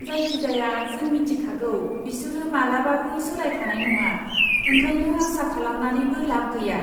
जायखिजाया, जों मिथिखागौ बिसोरो मालाबाबो सोलायखानाय नङा, ओंखायनो आसा खालामनानैबो लाब गैया।